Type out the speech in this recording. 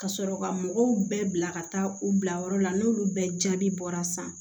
Ka sɔrɔ ka mɔgɔw bɛɛ bila ka taa u bila yɔrɔ la n'olu bɛɛ jaabi bɔra san